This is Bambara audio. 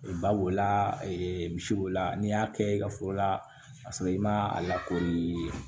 Ba b'o la misi b'o la n'i y'a kɛ i ka foro la k'a sɔrɔ i ma a lakori